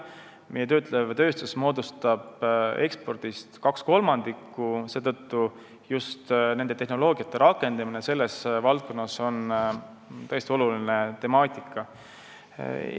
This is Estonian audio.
Meie töötlev tööstus moodustab ekspordist kaks kolmandikku, seetõttu on just tehnoloogia rakendamine selles valdkonnas tõesti oluline temaatika.